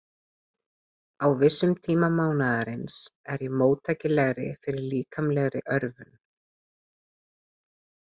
Á vissum tíma mánaðarins er ég móttækilegri fyrir líkamlegri örvun.